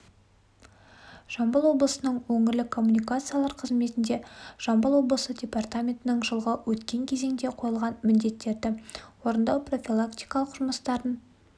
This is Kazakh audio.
жамбыл облысының өңірлік коммуникациялар қызметінде жамбыл облысы департаментінің жылғы өткен кезеңде қойылған міндеттерді орындау профилактикалық жұмыстарын